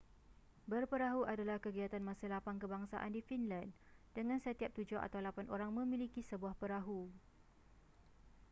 berperahu adalah kegiatan masa lapang kebangsaan di finland dengan setiap tujuh atau lapan orang memiliki sebuah perahu